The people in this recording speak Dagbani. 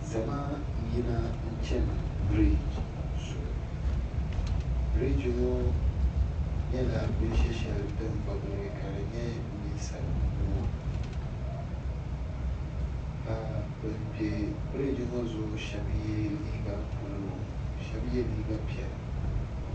Zama n yina chani brigi zuɣʋ brigi ŋɔ nyɛla binshɛshali din gbibili ka di nyɛ ninsali nuu ka ben bɛ. brigi ŋɔ zuɣu shabe yɛ liiga bluu shabe yɛ liiga pɛla.